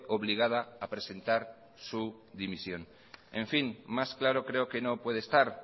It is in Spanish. obligada a presentar su dimisión en fin más claro creo que no puede estar